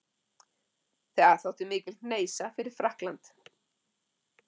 Það þótti mikil hneisa fyrir Frakkland.